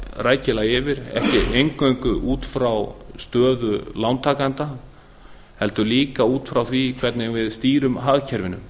rækilega yfir ekki eingöngu út frá stöðu lántakenda heldur líka út frá því hvernig við stýrum hagkerfinu